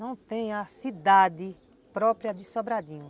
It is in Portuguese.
Não tem a cidade própria de Sobradinho.